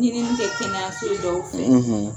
Ɲinini tɛ kɛnɛyaso dɔw fɛ